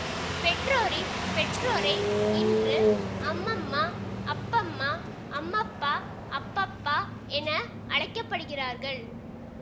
பெற்றோரின் பெற்றோரை இன்று அம்மம்மா அப்பம்மா அம்மப்பா அப்பப்பா என அழைக்கப்படுகிறார்கள்